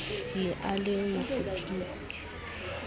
ne e le mofufutso o